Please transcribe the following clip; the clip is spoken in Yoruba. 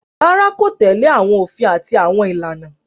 Rárá, kò tẹ́lẹ̀ àwọn òfin àti àwọn ìlànà